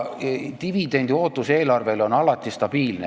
Dividendiootus on eelarves alati stabiilne.